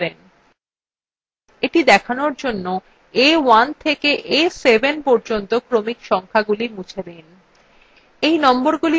এটি দেখানোর জন্য a1 থেকে a7 পর্যন্ত ক্রমিক সংখাগুলি মুছে দিন